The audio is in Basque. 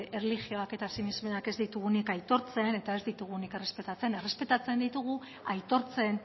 erlijioak eta sinesmenak ez ditugunak aitortzen eta ez ditugunak errespetatzen errespetatzen ditugu aitortzen